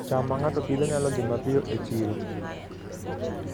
cham ma ng'ato Pidhoo nyalo dhi mapiyo e chiro